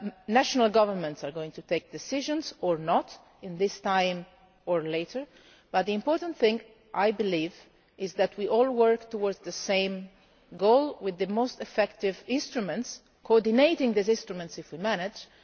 National governments are going to take decisions, or not, at this time or later, but the important thing is that we all work together towards the same goal with the most effective instruments, coordinating these instruments if we manage